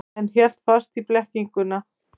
En hélt fast í blekkinguna.